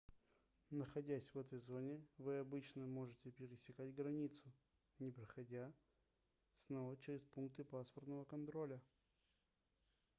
находясь в этой зоне вы обычно можете пересекать границу не проходя снова через пункты паспортного контроля